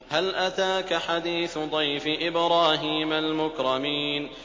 هَلْ أَتَاكَ حَدِيثُ ضَيْفِ إِبْرَاهِيمَ الْمُكْرَمِينَ